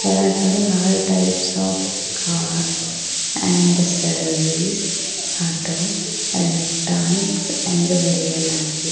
ಕೆಳಗಡೆ all types of car and service auto electronics ಎಂದು ಬರೆಯಲಾಗಿ--